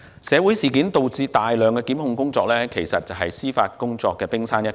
社會事件導致的大量檢控工作，只是司法工作量的冰山一角。